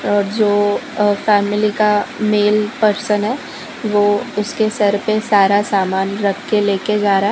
और जो अ फैमिली का मेल पर्सन है वो उसके सर पे सारा सामान रख के लेके जा रहा --